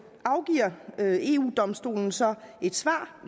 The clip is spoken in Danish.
domstolen så et svar